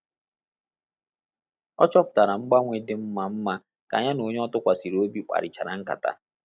Ọ chọpụtara ngbanwe dị mma mma ka ya na onye ọ tụkwasịrị obi kparịchara ńkátà